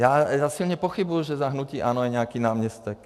Já silně pochybuji, že za hnutí ANO je nějaký náměstek.